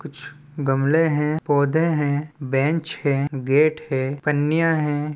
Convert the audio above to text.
कुछ गमले हें पौधे हे बेंच हें गेट हे पन्नियाँ हें।